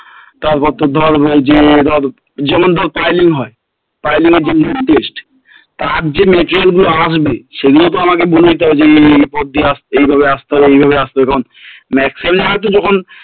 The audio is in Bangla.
তারপর তো ধর যে ধর যেমন ধর piling হয় piling এর যে main test তার যে material গুলো আসবে সেগুলো তো আমাকে বলে দিতে হবে যে এই পথ দিয়ে আসছে এইভাবে আসতে হয় এইভাবে আসতে হয় কারণ maximum তো যখন